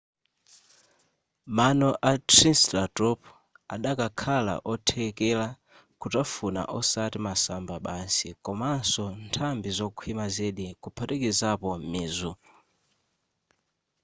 mano a triceratop adakakhala othekera kutafuna osati masamba basi komanso nthambi zokhwima zedi kuphatikizapo mizu